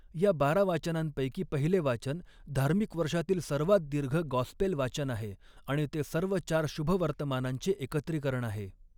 या बारा वाचनांपैकी पहिले वाचन धार्मिक वर्षातील सर्वात दीर्घ गॉस्पेल वाचन आहे आणि ते सर्व चार शुभवर्तमानांचे एकत्रीकरण आहे.